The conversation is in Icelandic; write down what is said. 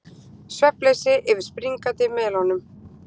Svefnleysi yfir springandi melónum